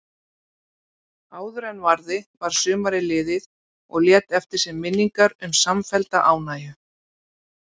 Áðuren varði var sumarið liðið og lét eftir sig minningar um samfellda ánægju.